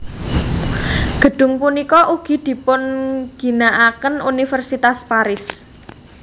Gedung punika ugi dipunginakaken Universitas Paris